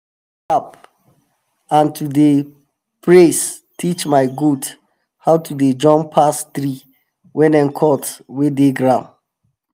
clap and to dey praise teach my goat how to dey jump pass tree wey dem cut wey dey ground.